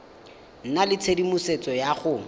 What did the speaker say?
nna le tshedimosetso ya go